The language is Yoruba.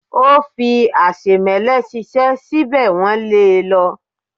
ó fí aṣemẹ́lẹ̀ ṣiṣẹ́ síbẹ̀ wọ́n lé e lọ.